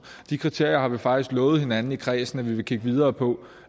de kriterier har vi faktisk lovet hinanden i kredsen at vi vil kigge videre på